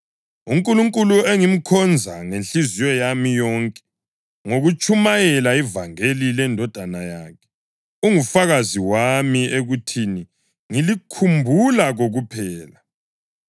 UNkulunkulu engimkhonza ngenhliziyo yami yonke ngokutshumayela ivangeli leNdodana yakhe, ungufakazi wami ekuthini ngilikhumbula kokuphela